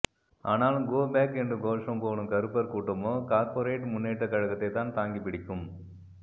ஆனால் கோபெக் என்று கோஷம் போடும் கறுப்பர் கூட்டமோ கார்பொரேட் முன்னேற்ற கழகத்தை தான் தாங்கி பிடிக்கும்